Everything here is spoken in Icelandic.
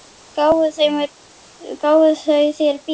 Gáfu þau þér bíl?